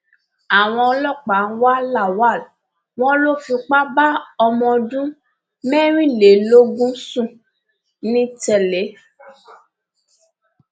àwọn ọlọpàá ń wá lawal wọn lọ fipá bá ọmọ ọdún mẹrìnlélógún sùn nìtẹlé